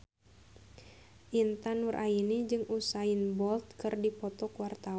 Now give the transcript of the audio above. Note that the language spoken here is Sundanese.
Intan Nuraini jeung Usain Bolt keur dipoto ku wartawan